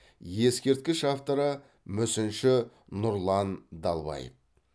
ескерткіш авторы мүсінші нұрлан далбаев